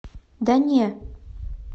да не